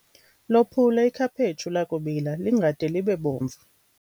Lophule ikhaphetshu lakubila lingade libe bomvu.